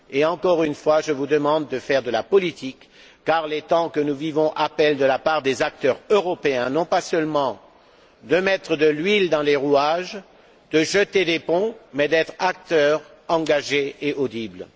Encore une fois, j'insiste et je vous demande de faire de la politique, car les temps que nous vivons exigent de la part des acteurs européens non seulement de mettre de l'huile dans les rouages, de jeter des ponts, mais aussi d'être des acteurs engagés et audibles.